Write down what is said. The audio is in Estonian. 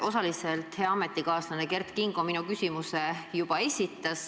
Osaliselt hea ametikaaslane Kert Kingo minu küsimuse juba esitas.